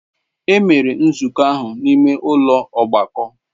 Emere nzukọ ahụ n'ime ụlọ ọgbakọ.